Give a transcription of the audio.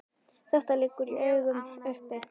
Þetta liggur í augum uppi.